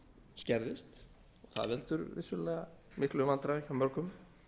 skerðist það veldur vissulega miklum vandræðum hjá mörgum